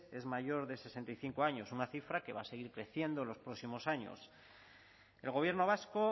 es mayor de sesenta y cinco años una cifra que va a seguir creciendo en los próximos años el gobierno vasco